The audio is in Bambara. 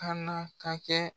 Kaana ka kɛ